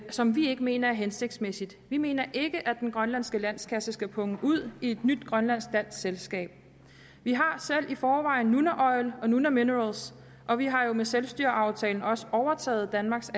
som vi ikke mener er hensigtsmæssigt vi mener ikke at den grønlandske landskasse skal punge ud til et nyt grønlandsk dansk selskab vi har selv i forvejen nunaoil og nunaminerals og vi har jo med selvstyreaftalen også overtaget danmarks